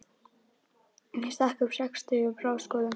Ég stakk upp á sextugum ráðskonum.